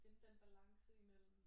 Finde den balance imellem